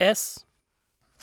S